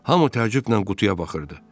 Hamı təəccüblə qutuya baxırdı.